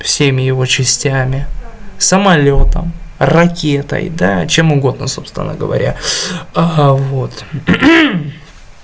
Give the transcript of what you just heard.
всеми его частями самолётом ракетой да чем угодно собственно говоря ага вот